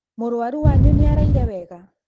Mũrwaru wanyu nĩaraire wega?